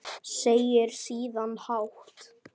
Segir síðan hátt: